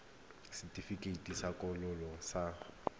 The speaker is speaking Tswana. fiwa setefikeiti sa kgololo sa